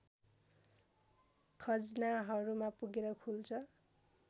खज्नाहमा पुगेर खुल्छ